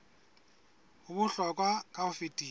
ho bohlokwa ka ho fetisisa